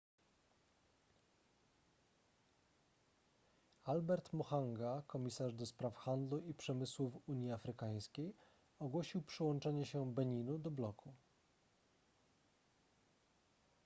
albert muchanga komisarz ds handlu i przemysłu w unii afrykańskiej ogłosił przyłączenie się beninu do bloku